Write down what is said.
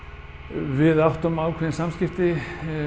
við áttum ákveðin samskipti